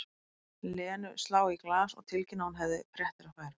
Lenu slá í glas og tilkynna að hún hefði fréttir að færa.